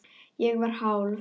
Ég var hálf